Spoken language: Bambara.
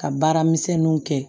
Ka baaramisɛnninw kɛ